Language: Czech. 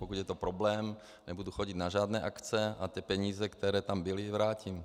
Pokud je to problém, nebudu chodit na žádné akce a ty peníze, které tam byly, vrátím.